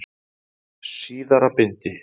Síðara bindi.